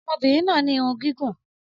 Ọmọbìnrin náà ní irun gígùn